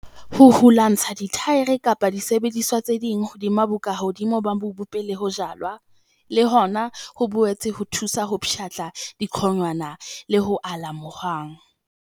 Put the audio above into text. Ho hulantsha dithaere kapa disebediswa tse ding hodima bokahodimo ba mobu pele ho jalwa, le hona ho boetse ho thusa ho pshatla diqonwana le ho ala mohwang.